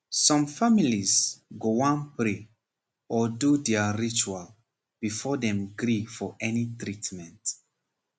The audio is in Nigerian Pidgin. some families go wan pray or do their ritual before dem gree for any treatment